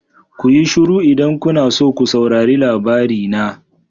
Kuyi shiru idan kuna so ko saurari labari na.